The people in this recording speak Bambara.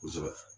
Kosɛbɛ